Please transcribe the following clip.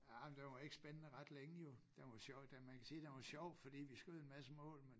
Ej men den var ikke spændende ret længe jo den var sjov den man kan sige den var sjov fordi vi skød en masse mål men